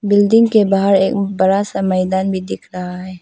Building के बाहर एक बड़ा सा मैदान भी दिख रहा है।